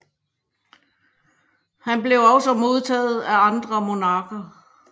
Han blev også modtaget af andre monarker